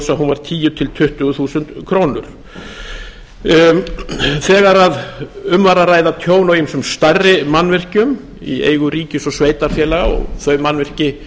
hún var tíu til tuttugu þúsund krónur þegar um var að ræða tjón á ýmsum stærri mannvirkjum í eigu ríkis og sveitarfélaga og þau mannvirki